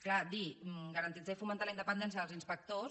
clar dir garantir i fomentar la independència dels inspectors